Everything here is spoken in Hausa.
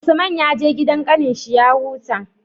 Usman ya je gidan kakannin shi ya huta